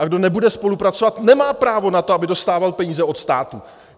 A kdo nebude spolupracovat, nemá právo na to, aby dostával peníze od státu!